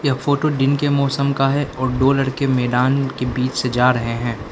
यह फोटो दिन के मौसम का है और दो लड़के मैदान के बीच से जा रहे हैं।